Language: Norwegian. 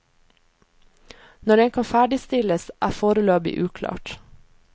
Når den kan ferdigstilles, er foreløpig uklart.